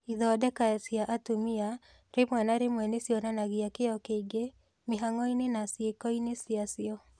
Ithondeka cia atumia rĩmwe na rĩmwe nĩ cionanagia "kĩyo kĩingĩ" mĩhang'o-inĩ na ciĩko-inĩ ciacio.